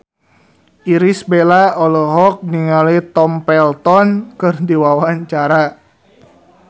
Irish Bella olohok ningali Tom Felton keur diwawancara